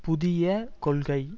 புதிய கொள்கை